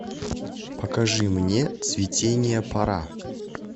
покажи мне цветения пора